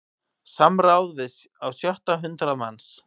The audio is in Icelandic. Samráð við á sjötta hundrað manns